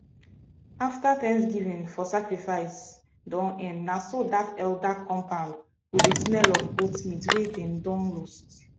afta thanksgiving for sacrifice don end na so that elder compound go dey smell of goat meat wey them don roast